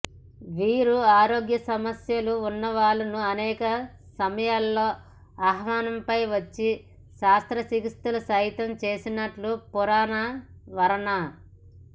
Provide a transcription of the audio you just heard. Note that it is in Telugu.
వీరు ఆరోగ్యసమస్యలు ఉన్నవాళ్ళను అనేక సమయాలలో ఆహ్వానంపై వచ్చి శస్త్రచికిత్సలు సైతం చేసినట్లు పురాణ వర్ణన